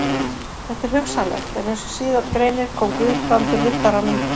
Þetta er hugsanlegt, en eins og síðar greinir kom Guðbrandur Riddaranum